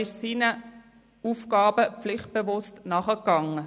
Er ist seinen Aufgaben pflichtbewusst nachgegangen.